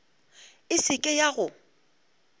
e se ke ya go